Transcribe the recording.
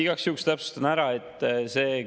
Igaks juhuks täpsustan.